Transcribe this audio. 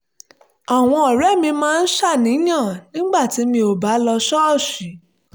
àwọn ọ̀rẹ́ mi máa ń ṣàníyàn nígbà tí mi ò bá lọ sí ṣọ́ọ̀ṣì